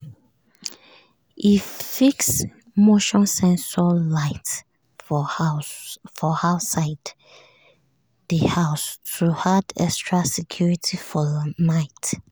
e fix motion sensor light for outside the house to add extra security for night.